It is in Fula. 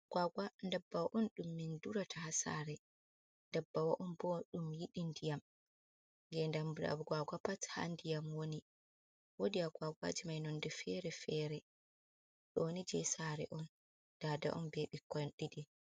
Agwagwa ɗabbawa on dum min durata hasare. Ɗabbawa on bo dum yidi ndiyam gedamji agwagwa pat ha ndiyam woni. Wadi agwagwaji mai nonde fere-fere. doni je sare on dada on be bikkoi ɗiɗi.